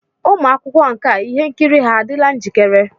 Ụmụ akwụkwọ nka ihe nkiri ha adịla njikere?